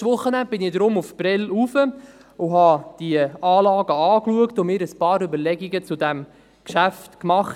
Am letzten Wochenende bin deshalb nach Prêles gegangen, habe mir die Anlagen angeschaut und mir einige Überlegungen zu diesem Geschäft gemacht.